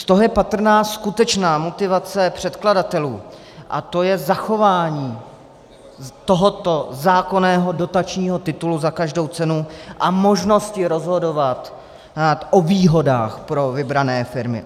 Z toho je patrná skutečná motivace předkladatelů a tou je zachování tohoto zákonného dotačního titulu za každou cenu a možnosti rozhodovat o výhodách pro vybrané firmy.